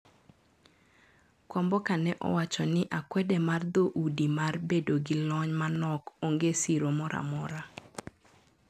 Kwamboka ne owacho ni akwede mar dho udi mar bedo gi lony manok onge siro moramora.